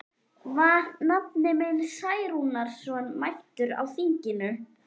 Var nafni minn Særúnarson mættur á þinginu?